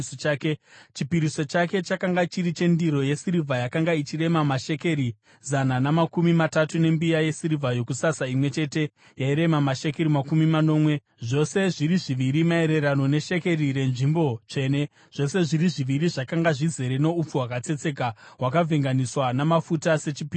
Chipiriso chake chakanga chiri chendiro yesirivha yakanga ichirema mashekeri zana namakumi matatu, nembiya yesirivha yokusasa imwe chete yairema mashekeri makumi manomwe, zvose zviri zviviri maererano neshekeri renzvimbo tsvene, zvose zviri zviviri zvakanga zvizere noupfu hwakatsetseka hwakavhenganiswa namafuta sechipiriso chezviyo;